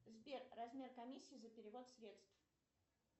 сбер размер комиссии за перевод средств